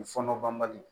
Fɔnɔ banbali